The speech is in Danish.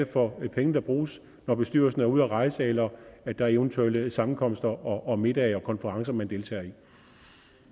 for nogle penge der bruges når bestyrelsen er ude at rejse eller der eventuelt er sammenkomster og middage og konferencer man deltager